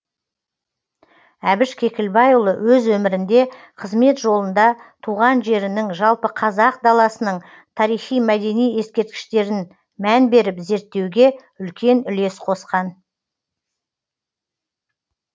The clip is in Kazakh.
әбіш кекілбайұлы өз өмірінде қызмет жолында туған жерінің жалпы қазақ даласының тарихи мәдени ескерткіштерін мән беріп зерттеуге үлкен үлес қосқан